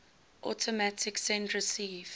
automatic send receive